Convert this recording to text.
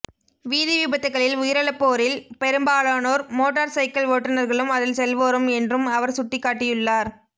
வீதி விபத்துக்களில் உயிரிழப்போரில் பெரும்பாலானோர் மோட்டார் சைக்கள் ஓட்டுநர்களும் அதில் செல்வோரும் என்றும் அவர் சுட்டிக்காட்டியுள்ளார்